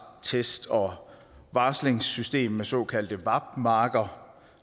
test og varslingssystem med såkaldte vap marker